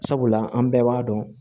Sabula an bɛɛ b'a dɔn